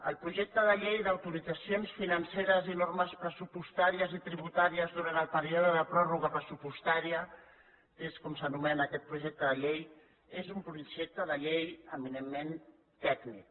el projecte de llei d’autoritzacions financeres i normes pressupostàries i tributàries durant el període de pròrroga pressupostària que és com s’anomena aquest projecte de llei és un projecte de llei eminentment tècnic